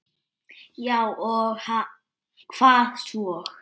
Já og hvað svo!